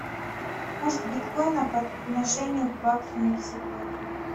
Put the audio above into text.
курс биткоина по отношению к баксу на сегодня